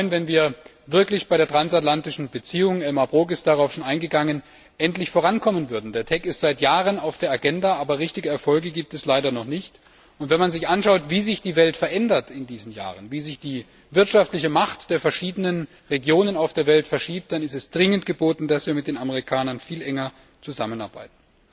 Ich würde mich freuen, wenn wir wirklich bei der transatlantischen Beziehung Elmar Brok ist darauf schon eingegangen endlich vorankommen würden. Der TEC ist seit Jahren schon wieder auf der Agenda, aber richtige Erfolge gibt es leider noch nicht. Wenn man sich anschaut, wie sich die Welt in diesen Jahren verändert, wie sich die wirtschaftliche Macht der verschiedenen Regionen auf der Welt verschiebt, dann ist es dringend geboten, dass wir mit den Amerikanern viel enger zusammenarbeiten.